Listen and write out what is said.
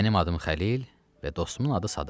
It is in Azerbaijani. Mənim adım Xəlil və dostumun adı Sadıqdır.